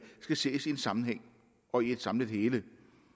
skal ses i en sammenhæng og i et samlet hele